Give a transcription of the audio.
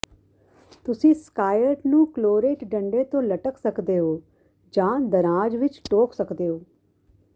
ਤੁਸੀਂ ਸਕਾਇਟ ਨੂੰ ਕਲੋਰੇਟ ਡੰਡੇ ਤੋਂ ਲਟਕ ਸਕਦੇ ਹੋ ਜਾਂ ਦਰਾਜ਼ ਵਿੱਚ ਟੋਕ ਸਕਦੇ ਹੋ